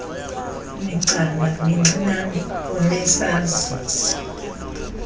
migcana mincinane unesazisi